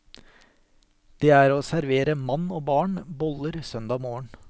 Det er å servere mann og barn boller søndag morgen.